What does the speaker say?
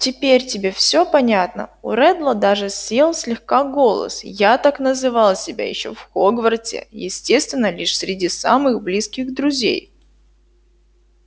теперь тебе все понятно у реддла даже сел слегка голос я так называл себя ещё в хогвартсе естественно лишь среди самых близких друзей